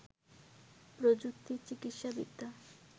প্রযুক্তি, চিকিৎসাবিদ্যা